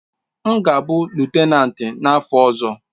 M ga-abụ lutenanti n'afọ ọzọ.